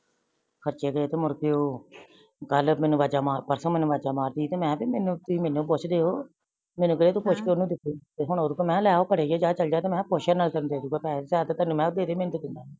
ਖਚੇ ਦੇ ਤੂ ਮੁੜ ਕੇ ਓਹੋ ਬਾਰਲੇ ਪੰਡ ਵਾਜਾ ਮਾਰ ਦਾ ਸੀ ਮੇਨੂ ਵਾਜਾ ਮਾਰਦੀ ਸੀ ਤੇ ਮੈ ਤੁਸੀਂ ਮੇਨੂ ਪੁਛ ਦੇ ਹੋ ਮੇਨੂ ਵੀਰੇ ਤੋ ਪੁਛ ਕੇ ਓਨੁ ਦਿਤੇ ਸੀ ਹੋਣ ਓਦੋ ਮੈ ਲੈ ਹੁਣ ਓਹ ਫੜੇ ਗਾਏ ਜਾ ਚਲ ਜਾ ਤੂ ਮੈ ਕੇਹਾ ਕੁਛ ਨਾ ਕਰਨ ਦਿਓ ਬਸ ਚਾਰ ਤੇ ਤਿਨ ਮੈ ਦੇਦੇ ਮੇਨੂ